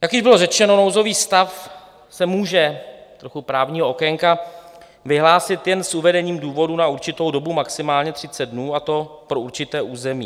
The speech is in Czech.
Jak již bylo řečeno, nouzový stav se může - trochu právního okénka - vyhlásit jen s uvedením důvodu na určitou dobu, maximálně 30 dnů, a to pro určité území.